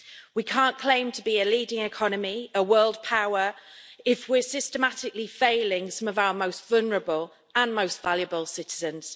We can't claim to be a leading economy, a world power, if we're systematically failing some of our most vulnerable and most valuable citizens.